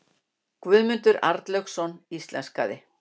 Guðmundur Arnlaugsson íslenskaði.